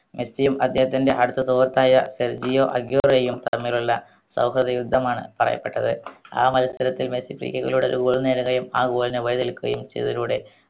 മെസ്സിയും അദ്ദേഹത്തിൻറെ അടുത്ത സുഹൃത്തായ ഫെൽബിയോ അഗുവേരയും തമ്മിലുള്ള സൗഹൃദ യുദ്ധമാണ് പറയപ്പെട്ടത് ആ മത്സരത്തിൽ മെസ്സി ആ goal നെ വഴി തെളിക്കുകയും ചെയ്തതിലൂടെ